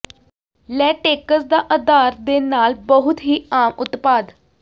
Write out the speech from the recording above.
latex ਦਾ ਅਧਾਰ ਦੇ ਨਾਲ ਬਹੁਤ ਹੀ ਆਮ ਉਤਪਾਦ